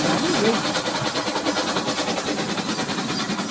Para ninguém.